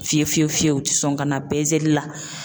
Fiye fiye fiye fiyew u ti sɔn ka na peseli la.